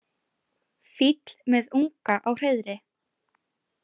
Fýll með unga á hreiðri.